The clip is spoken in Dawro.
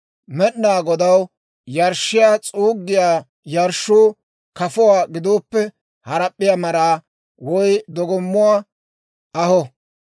« ‹Med'inaa Godaw yarshshiyaa s'uuggiyaa yarshshuu kafuwaa gidooppe, harap'p'iyaa maraa, woy dogommuwaa aho.